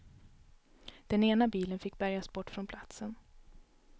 Den ena bilen fick bärgas bort från platsen.